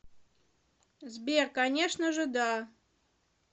сбер конечно же да